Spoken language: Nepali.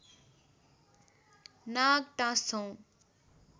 नाग टाँस्छौँ